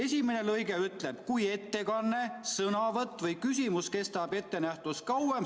Esimene lõige ütleb: kui ettekanne, sõnavõtt või küsimus kestab ettenähtust kauem ...